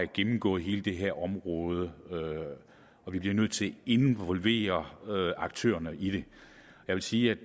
gennemgå hele det her område og vi bliver nødt til at involvere aktørerne i det jeg vil sige